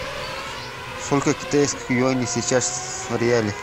сколько китайских юаней сейчас в реале